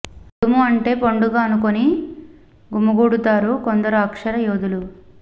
కుడుము అంటే పండుగ అనుకోని గుమిగూడు తారు కొందరు అక్షర యోధులు